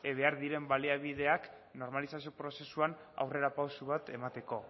behar diren baliabideak normalizazio prozesuan aurrera pausu bat emateko